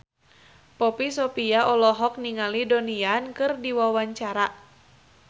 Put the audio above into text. Poppy Sovia olohok ningali Donnie Yan keur diwawancara